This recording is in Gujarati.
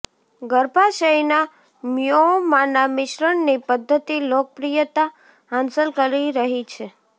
ગર્ભાશયના મ્યોમાના મિશ્રણની પદ્ધતિ લોકપ્રિયતા હાંસલ કરી રહી છે